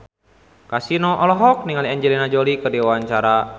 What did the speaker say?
Kasino olohok ningali Angelina Jolie keur diwawancara